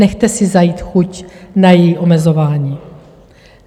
Nechte si zajít chuť na její omezování.